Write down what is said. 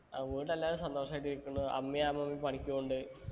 ആ വീട്ടിൽ എല്ലാരും സന്തോഷായിട്ട് ഇരിക്കണു അമ്മയു അമ്മൂമ്മയു പണിക്ക് പോന്നുണ്ട്